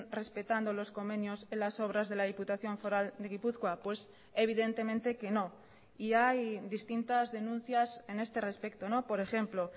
respetando los convenios en las obras de la diputación foral de gipuzkoa pues evidentemente que no y hay distintas denuncias en este respecto por ejemplo